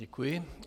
Děkuji.